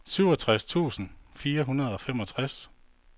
syvogtres tusind fire hundrede og femogtres